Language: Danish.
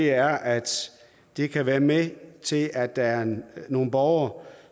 er at det kan være med til at der er nogle borgere